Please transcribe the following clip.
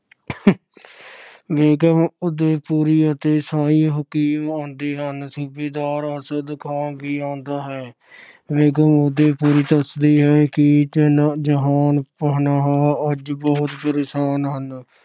ਬੇਗਮ ਉਦੈਪੁਰੀ ਅਤੇ ਸ਼ਾਹੀ ਹਕੀਮ ਆਉਂਦੇ ਹਨ। ਸੂਬੇਦਾਰ ਅਰਸ਼ਦ ਖਾਨ ਵੀ ਆਉਂਦਾ ਹੈ। ਬੇਗਮ ਉਦੈਪੁਰੀ ਦੱਸਦੀ ਹੈ ਕਿ ਜਾਹਪਨਾਹ ਅਹ ਅੱਜ ਬਹੁਤ ਪਰੇਸ਼ਾਨ ਹਨ।